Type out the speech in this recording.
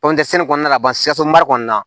kɔnɔna na sikaso mara kɔnɔna na